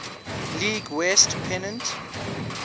league west pennant